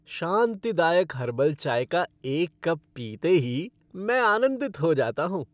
शांतिदायक herbal चाय का एक कप पीते ही मैं आनंदित हो जाता हूँ।